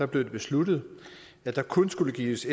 blev det besluttet at der kun skulle gives